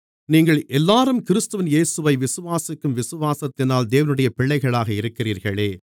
நீங்கள் எல்லோரும் கிறிஸ்து இயேசுவை விசுவாசிக்கும் விசுவாசத்தினால் தேவனுடைய பிள்ளைகளாக இருக்கிறீர்களே